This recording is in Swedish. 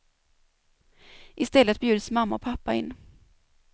I stället bjuds mamma och pappa in.